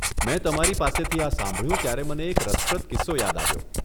મેં તમારી પાસેથી આ સાંભળ્યું ત્યારે મને એક રસપ્રદ કિસ્સો યાદ આવ્યો.